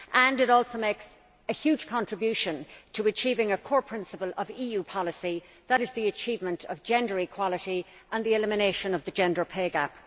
It also makes a huge contribution to achieving a core principle of EU policy that is the achievement of gender equality and the elimination of the gender pay gap.